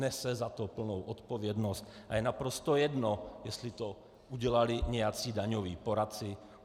Nese za to plnou odpovědnost a je naprosto jedno, jestli to udělali nějací daňoví poradci.